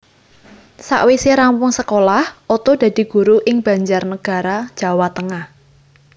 Sawise rampung sekolah Oto dadi guru ing Banjarnegara Jawa Tengah